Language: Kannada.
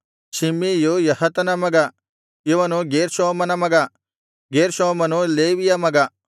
ಶಿಮ್ಮೀಯು ಯಹತನ ಮಗ ಇವನು ಗೇರ್ಷೋಮನ ಮಗ ಗೇರ್ಷೋಮನು ಲೇವಿಯ ಮಗ